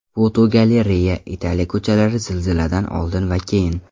Fotogalereya: Italiya ko‘chalari zilziladan oldin va keyin .